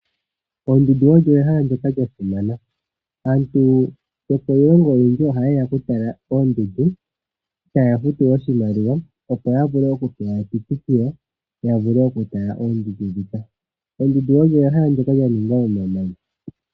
Oondundu odho ehala lyoka lya simana. Aantu yokiilongo oyendji ohaye ya oku tala oondundu. Ohaya futu oshimaliwa opo ya vule oku futa uuhupilo ya vule oku tala oondundu ndhika. Oondundu odho ehala lyoka lya ningwa momamanya.